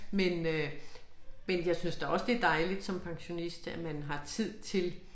Men øh men jeg synes da også det dejligt som pensionist at man har tid til